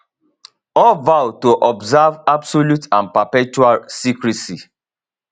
all vow to observe absolute and perpetual secrecy